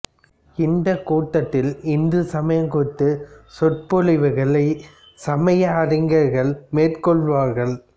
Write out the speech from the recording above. இந்தக் கூட்டத்தில் இந்துசமயம் குறித்த சொறுபொழிவுகளை சமய அறிஞர்கள் மேற்கொள்வார்கள்